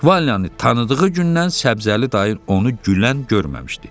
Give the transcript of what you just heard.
Valyanı tanıdığı gündən Səbzəli dayı onu gülən görməmişdi.